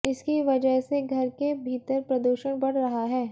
इसकी वजह से घर के भीतर प्रदूषण बढ़ रहा है